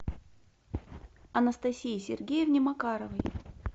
анастасии сергеевне макаровой